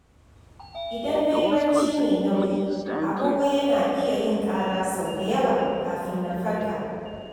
Idan na yi barci mai nauyi, agogo yana iya yin ƙara sau da yawa kafin na farka.